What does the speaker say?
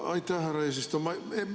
Aitäh, härra eesistuja!